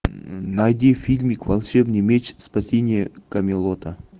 найди фильмик волшебный меч спасение камелота